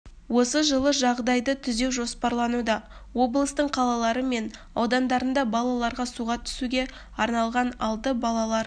осы жылы жағдайды түзеу жоспарлануда облыстың қалалары мен аудандарында балаларға суға түсуге арналған алты балалар